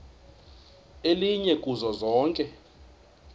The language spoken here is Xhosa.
elinye kuzo zonke